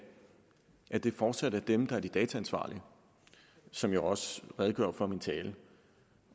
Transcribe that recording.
det fortsat er dem der er de dataansvarlige som jeg også redegjorde for i min tale